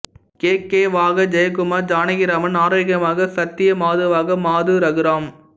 K K வாக ஜெயகுமார் ஜானகிராமன்ஆரோக்கியமாக சத்யா மாதுவாக மாது ரகுராம்